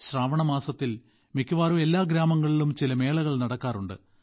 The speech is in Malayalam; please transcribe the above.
ശ്രാവണ മാസത്തിൽ മിക്കവാറും എല്ലാ ഗ്രാമങ്ങളിലും ചില മേളകൾ നടക്കാറുണ്ട്